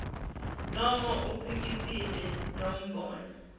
noma uphikise lombono